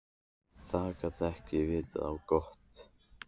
Það gat ekki vitað á gott.